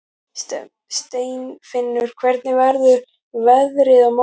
Steinfinnur, hvernig verður veðrið á morgun?